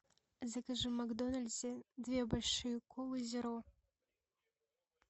закажи в макдональдсе две большие колы зеро